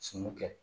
Sunu kɛ